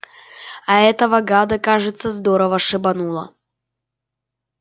а этого гада кажется здорово шибануло